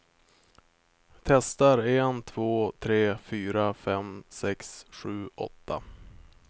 Testar en två tre fyra fem sex sju åtta.